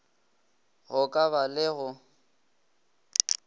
go ka ba le go